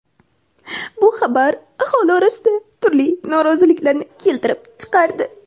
bu xabar aholi orasida turli noroziliklarni keltirib chiqardi.